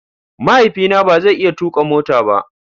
Mahaifina ba zai iya tuka mota ba.